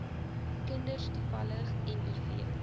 kinders toevallig miv